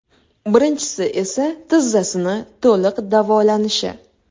Birinchisi esa tizzasini to‘liq davolanishi.